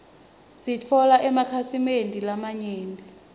sitfole emakhasi mende lamanyenti